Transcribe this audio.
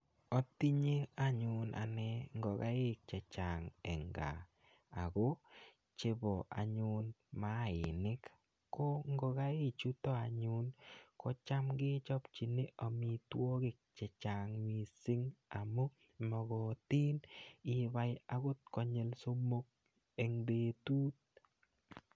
Atinye anyun ane ngokaik chechang' eng' kaa ako chebo anyun maainik ko ngokaik chuto anyun kocham kechopchini omitwokik chechang' mising' amu mokotin ibai akot konyul somok eng' betut